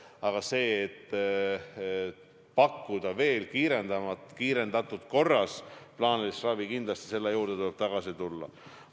Aga selle juurde, et pakkuda veel kiirendatud korras plaanilist ravi, tuleb kindlasti tagasi tulla.